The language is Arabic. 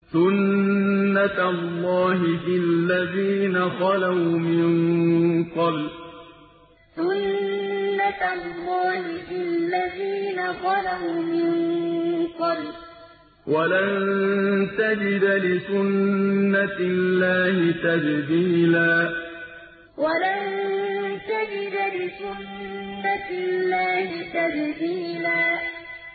سُنَّةَ اللَّهِ فِي الَّذِينَ خَلَوْا مِن قَبْلُ ۖ وَلَن تَجِدَ لِسُنَّةِ اللَّهِ تَبْدِيلًا سُنَّةَ اللَّهِ فِي الَّذِينَ خَلَوْا مِن قَبْلُ ۖ وَلَن تَجِدَ لِسُنَّةِ اللَّهِ تَبْدِيلًا